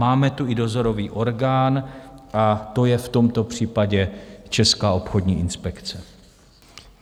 Máme tu i dozorový orgán a to je v tomto případě Česká obchodní inspekce.